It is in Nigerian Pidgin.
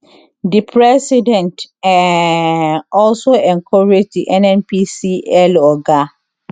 di president um also encourage di nnpcl oga